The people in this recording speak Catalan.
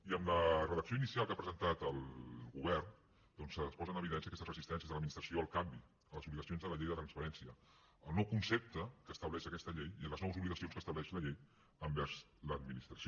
i en la redacció inicial que ha presentat el govern doncs es posen en evidència aquestes resistències de l’administració al canvi a les obligacions de la llei de transparència al nou concepte que estableix aquesta llei i a les noves obligacions que estableix la llei envers l’administració